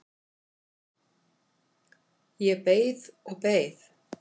Ég beið og beið.